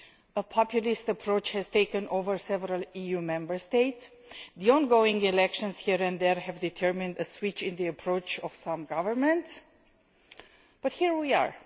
A populist approach has taken over several EU Member States and the ongoing elections here and there have determined a switch in the approach of some governments but here we are.